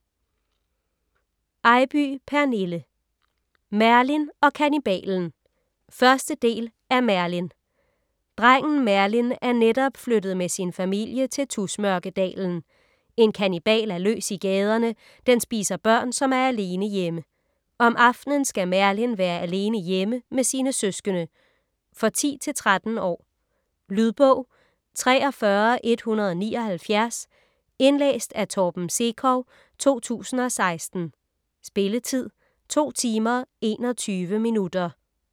Eybye, Pernille: Merlin og kannibalen 1. del af Merlin. Drengen Merlin er netop flyttet med sin familie til Tusmørkedalen. En kannibal er løs i gaderne. Den spiser børn, som er alene hjemme. Om aftenen skal Merlin være alene hjemme med sine søskende. For 10-13 år. Lydbog 43179 Indlæst af Torben Sekov, 2016. Spilletid: 2 timer, 21 minutter.